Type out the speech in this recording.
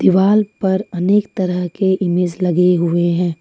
Wall पर अनेक तरह के इमेज लगे हुए हैं ।